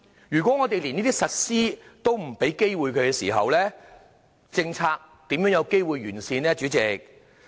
如果我們不給予機會實施，政策又如何可完善呢？